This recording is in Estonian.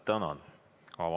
Tänan!